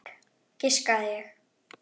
Fisk, giskaði ég.